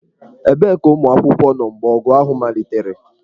Ebee ka ụmụ akwụkwọ nọ mgbe ọgụ ahụ malitere?